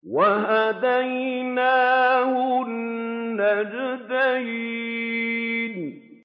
وَهَدَيْنَاهُ النَّجْدَيْنِ